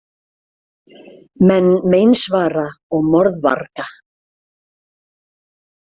Menn meinsvara og morðvarga.